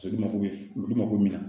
Olu mako bɛ olu mago bɛ min na